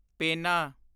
ਪੇਨਾ